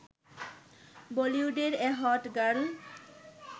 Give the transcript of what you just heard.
বলিউডের এ hot girl